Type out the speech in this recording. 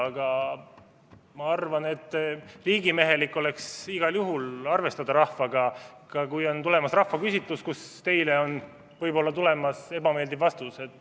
Aga ma arvan, et riigimehelik oleks igal juhul arvestada rahvaga, ka siis, kui on tulemas rahvaküsitlus, kust teile on võib-olla tulemas ebameeldiv vastus.